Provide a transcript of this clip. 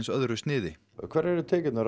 öðru sniði hverjar eru tekjurnar